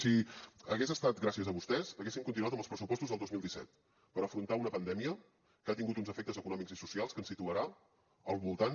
si hagués estat gràcies a vostès haguéssim continuat amb els pressupostos del dos mil disset per afrontar una pandèmia que ha tingut uns efectes econòmics i socials que ens situarà al voltant